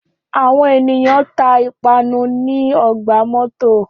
Áwọn ẹniyan ta ipanu ni ọgba mọto